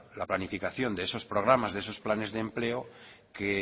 la planificación de esos programas de esos planes de empleo que